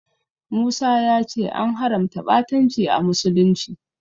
Musa ya ce an haramta ɓatanci a musulunci.